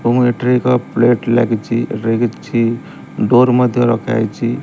ତୁମ ହେଠିରେ ଏକ ପ୍ଲେଟ ଲାଗିଛି ଲାଗିଛି ଡୋର ମଧ୍ୟ ରଖା ଯାଇଛି।